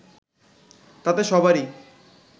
তাতে সবারই